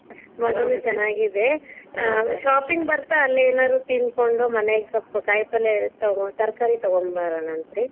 ಮಗುನು ಚೆನ್ನಾಗಿದೆ. shopping ಬತಾ೯, ಅಲ್ಲೇ ಏನಾರು ತಿನ್ಕೋಂಡು, ಮನೆಗೆ ಸ್ವಲ್ಪ ಕಾಯಿಪಲ್ಲೆ ತಗೋ ತರಕಾರಿ ತಗೊಂಡು ಬರೋಣಂತಿ೯.;